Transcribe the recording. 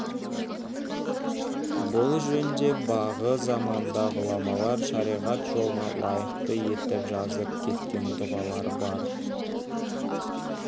бұл жөнде бағы заманда ғұламалар шариғат жолына лайықты етіп жазып кеткен дұғалар бар